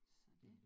Så det